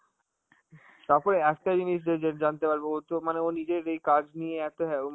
তারপরে একটা জিনিস যে~ যে জানতে পারবো ওতো মানে ওর নিজের এই কাজ নিয়ে এত হ্যারো~